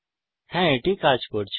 হ্যা এটি কাজ করছে